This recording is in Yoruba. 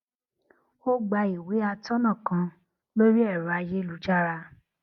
ó gba ìwé atónà kan lórí ẹrọ ayélujára